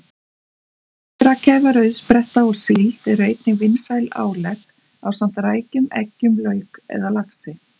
Lifrarkæfa, rauðspretta og síld eru einnig vinsæl álegg ásamt rækjum, eggjum, lauk eða laxi.